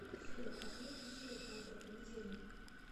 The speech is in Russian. афина отмени будильник на утро понедельника